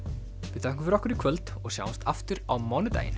við þökkum fyrir okkur í kvöld og sjáumst aftur á mánudaginn